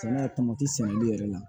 tamatɛ sɛnli yɛrɛ la